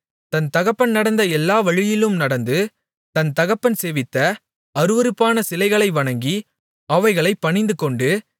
தன் தகப்பன் நடந்த எல்லா வழியிலும் நடந்து தன் தகப்பன் சேவித்த அருவருப்பான சிலைகளை வணங்கி அவைகளைப் பணிந்துகொண்டு